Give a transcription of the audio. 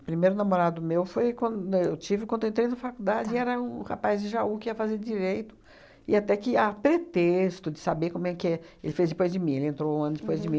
Primeiro namorado meu foi quando eu tive, quando eu entrei na faculdade e era um rapaz de Jaú que ia fazer Direito e até que há pretexto de saber como é que é. Ele fez depois de mim, ele entrou um ano depois de mim.